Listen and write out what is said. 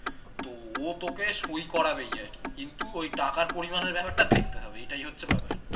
তো ও তোকে সই করাবেই, আরকি কিন্তু ওই টাকার পরিমানের ব্যাপারটা দেখতে হবে এটাই হচ্ছে ব্যাপার।